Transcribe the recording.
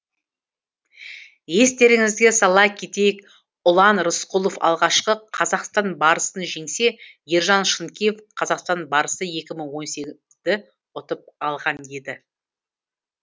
естеріңізге сала кетейік ұлан рысқұлов алғашқы қазақстан барысын жеңсе ержан шынкеев қазақстан барысы екі мың он сегізді ұтып алған еді